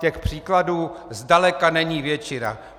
Těch příkladů zdaleka není většina.